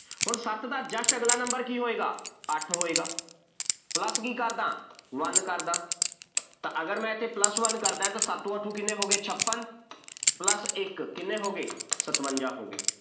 ਹੁਣ ਸੱਤ ਦਾ just ਅਗਲਾ number ਕੀ ਹੋਏਗਾ, ਅੱਠ ਹੋਏਗਾ plus ਕੀ ਕਰ ਦਿਆਂ one ਕਰ ਦਿਆ ਤਾਂ ਅਗਰ ਮੈਂ ਇੱਥੇ plus one ਕਰ ਦਿਆਂ ਤਾਂ ਸੱਤੋ ਆਠੇ ਕਿੰਨੇ ਹੋ ਗਏ, ਛਪਨ plus ਇੱਕ, ਕਿੰਨੇ ਹੋ ਗਏ ਸਤਵੰਜ਼ਾ ਹੋ ਗਏ,